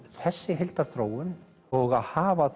þessi heildarþróun og að hafa